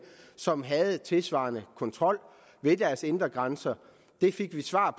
som havde tilsvarende kontrol ved deres indre grænser vi fik det svar